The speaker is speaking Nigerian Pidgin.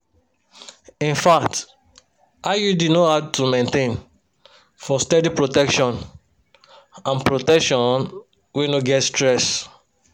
infact iud no hard to maintain for steady protection and protection wey no get stress.